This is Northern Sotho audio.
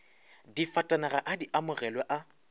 difatanaga a di amogilwe a